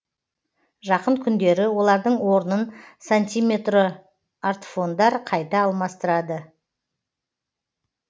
жақын күндері олардың орнын сантиметро артфондар қайта алмастырады